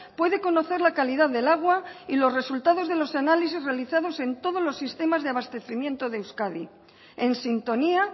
puede conocer la calidad del agua y los resultados de los análisis realizados en todos los sistemas de abastecimiento de euskadi en sintonía